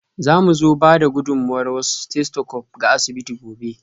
Za mu ba da gudummawar wasu stethoscopes ga asibiti gobe.